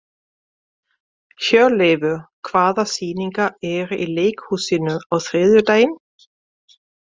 Hjörleifur, hvaða sýningar eru í leikhúsinu á þriðjudaginn?